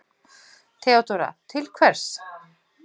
THEODÓRA: Til hvers?